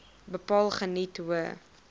bepaal geniet hoë